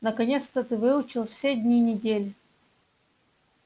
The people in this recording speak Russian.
наконец-то ты выучил все дни недели